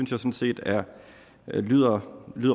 sådan set lyder